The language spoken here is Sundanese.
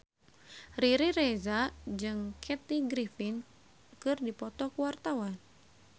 Riri Reza jeung Kathy Griffin keur dipoto ku wartawan